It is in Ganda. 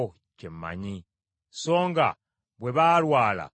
Bwe mbayisa obulungi bo bampisa bubi, ne banakuwaza omwoyo gwange.